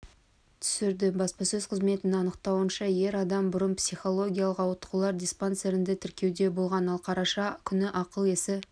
түсірді баспасөз қызметінің анықтауынша ер адам бұрын психикалықауытқулар диспансерінде тіркеуде тұрған ал қараша күні ақыл-есі